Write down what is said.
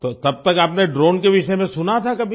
तो तब तक आपने ड्रोन के विषय में सुना था कभी